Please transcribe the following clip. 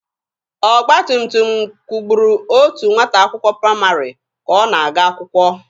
Ọgba tum tum kwugburu otu nwata akwụkwọ praịmarị ka ọ na-aga akwụkwọ.